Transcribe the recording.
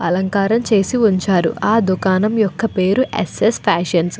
అలంకారం చేసి ఉంచారు. ఆ దుకాణం యొక్క పేరు ఎస్ఎస్ ఫ్యాషన్ --